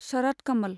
Sharath Kamal